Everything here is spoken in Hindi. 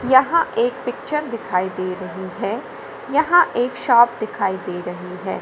यहां एक पिक्चर दिखाई दे रही है यहां एक शॉप दिखाई दे रही है।